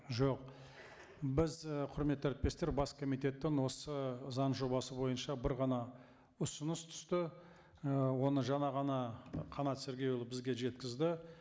жоқ біз і құрметті әріптестер бас комитеттің осы заң жобасы бойынша бір ғана ұсыныс түсті і оны жаңа ғана қанат сергейұлы бізге жеткізді